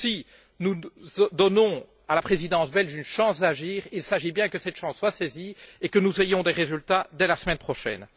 Si nous donnons à la présidence belge une chance d'agir, il s'agit bien que cette chance soit saisie et que nous ayons des résultats dès la semaine prochaine.